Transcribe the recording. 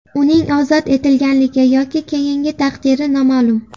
Uning ozod etilganligi yoki keyingi taqdiri noma’lum.